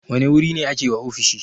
Wane wuri ne ake wa ofishi?